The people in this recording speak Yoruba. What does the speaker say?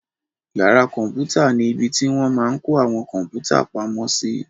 Yàrá kọ̀mpútà ni ibi tí wọ́n máa n kó àwọn kọ̀mpútà pamo sí